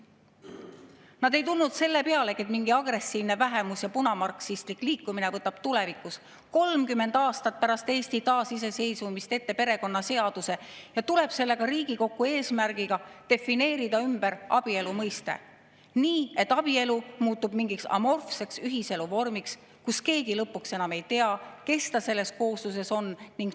Nad ei tulnud selle pealegi, et mingi agressiivne vähemus, punamarksistlik liikumine võtab tulevikus, 30 aastat pärast Eesti taasiseseisvumist, ette perekonnaseaduse ja tuleb sellega Riigikokku eesmärgiga defineerida abielu mõiste ümber nii, et abielu muutub mingiks amorfseks ühiselu vormiks ja keegi lõpuks enam ei tea, kes ta selles koosluses on.